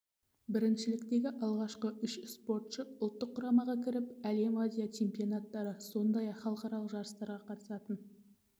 біріншіліктегі алғашқы үздік үш спортшы ұлттық құрамаға кіріп әлем азия чемпионаттары сондай-ақ халықаралық жарыстарға қатысатын